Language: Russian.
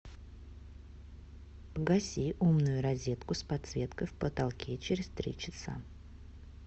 погаси умную розетку с подсветкой в потолке через три часа